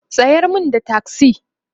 tsayar min da taksi!